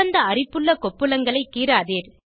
சிவந்த அரிப்புள்ள கொப்புளங்களை கீறாதீர்